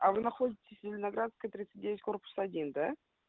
а вы находитесь зеленоградская тридцать девять корпус один да